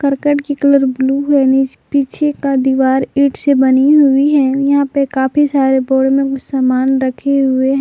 करकट की colour blue है पीछे का दीवार ईंट से बनी हुई है यहां पे काफी सारे बोरे मे कुछ सामान रखे हुए--